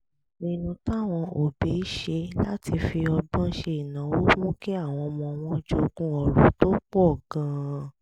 ìpinnu táwọn òbí ṣe láti fi ọgbọ́n ṣe ìnáwó mú kí àwọn ọmọ wọn jogún ọrọ̀ tó pọ̀ gan-an